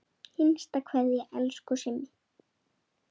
HINSTA KVEÐJA Elsku Simmi.